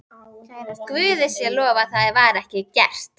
Guði sé lof að það var ekki gert.